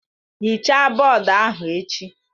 Hichaa bọọdụ ahụ echi!